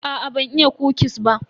Aa ban iya kukis ba.